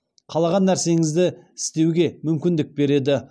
қалаған нәрсеңізді істеуге мүмкіндік береді